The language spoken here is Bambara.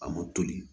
A ma toli